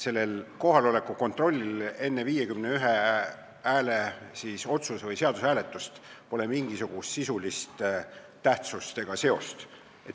Kohaloleku kontrollil enne vähemalt 51 poolthäält nõudva otsuse või seaduse hääletust pole mingisugust sisulist tähtsust.